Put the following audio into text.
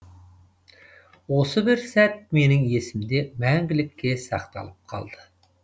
осы бір сәт менің есімде мәңгілікке сақталып қалды